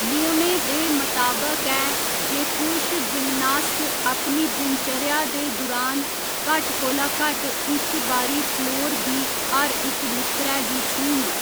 नियमें दे मताबक ऐ जे पुरश जिमनास्ट अपनी दिनचर्या दे दुरान घट्ट कोला घट्ट इक बारी फ्लोर दी हर इक नुक्करै गी छूह्‌न।